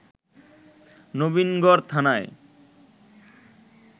নবীনগর থানার